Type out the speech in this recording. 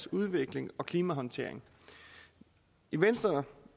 udvikling og klimahåndtering i venstre